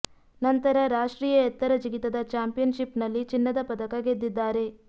ನಂತರ ರಾಷ್ಟ್ರೀಯ ಎತ್ತರ ಜಿಗಿತದ ಚಾಂಪಿಯನ್ ಷಿಪ್ ನಲ್ಲಿ ಚಿನ್ನದ ಪದಕ ಗೆದ್ದಿದ್ದಾರೆ